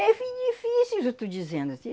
É fi difícil, se eu estou dizendo